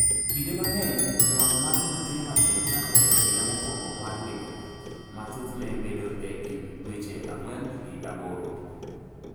"Kinde mang’eny, ng’ol mag nyathi matin chakore e higa mokwongo mar ngimane, ma thothne bedo e kind dweche 4 gi 8."